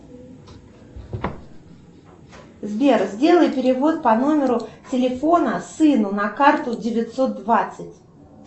сбер сделай перевод по номеру телефона сыну на карту девятьсот двадцать